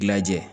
Lajɛ